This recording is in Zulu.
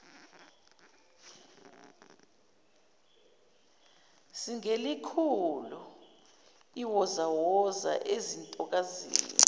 singelikhulu iwozawoza ezintokazini